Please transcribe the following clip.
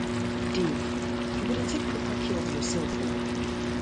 dave you um go dey take dey take proper um care of yourself oo um